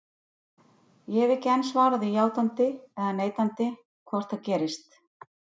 Ég hef ekki enn svarað því játandi eða neitandi hvort það gerist.